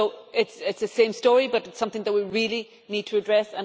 It is the same story, but it is something that we really need to address.